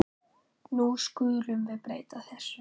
Nú skulum við breyta þessu.